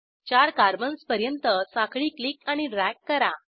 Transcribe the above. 4 कार्बन्सपर्यंत साखळी क्लिक आणि ड्रॅग करा